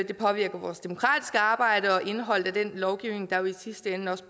det påvirker vores demokratiske arbejde og indholdet af den lovgivning der i sidste ende